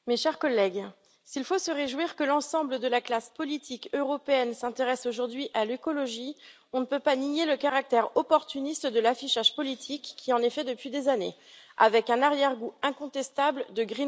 Madame la Présidente, mes chers collègues, s'il faut se réjouir que l'ensemble de la classe politique européenne s'intéresse aujourd'hui à l'écologie, on ne peut pas nier le caractère opportuniste de l'affichage politique qui en est fait, depuis des années, avec un arrière goût incontestable de